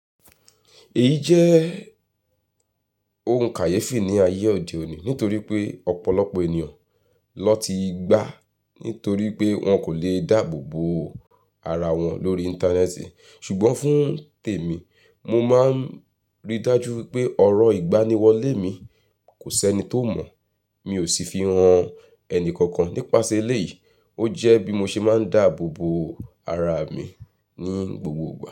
Èyí jẹ́ ohun kàyéfì ní ayé òde òní nítorí pé ọ̀pọ̀lọpọ̀ ènìyàn niwọ́n ti gbà nítorí pé wọn kò lè dáàbò bo ara wọn lórí Íńtánẹ́ẹ̀tì. Ṣùgbọ́n fún tèmi, mo máa ń rí dájú wipé ọ̀rọ̀ ìgbaniwọlé mi kò sẹ́ni tó mọ̀. Mi ò sì fi hàn ẹnìkankan nípasẹ̀ eléyìí. Ó jẹ́ bí mo ṣe máa ń dáàbò bo ara mi ní gbogbo ìgbà.